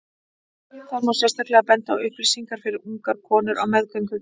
þar má sérstaklega benda á upplýsingar fyrir ungar konur á meðgöngu